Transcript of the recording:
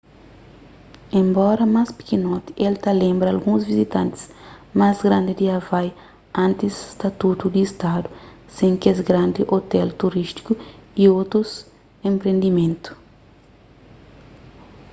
enbora más pikinoti el ta lenbra alguns vizitantis más grandi di havai antis statutu di stadu sen kes grandi ôtel turístiku y otus enpriendimentu